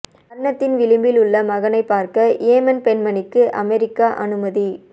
மரணத்தின் விளிம்பில் உள்ள மகனை பார்க்க யேமன் பெண்மணிக்கு அமெரிக்கா அனுமதி